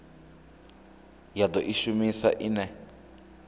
ya do i shumisa ine